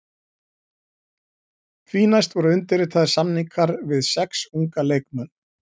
Því næst voru undirritaðir samningar við sex unga leikmenn.